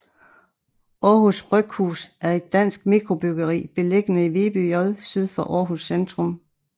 Aarhus Bryghus er et dansk mikrobryggeri beliggende i Viby J syd for Aarhus centrum